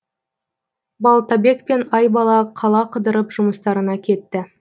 балтабек пен айбала қала қыдырып жұмыстарына кетті